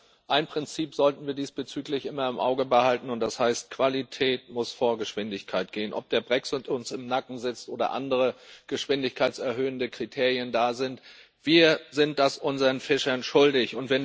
Aber ein Prinzip sollten wir diesbezüglich immer im Auge behalten, und das heißt Qualität muss vor Geschwindigkeit gehen, ob der Brexit uns im Nacken sitzt oder andere geschwindigkeitserhöhende Kriterien da sind, wir sind das unseren Fischern schuldig.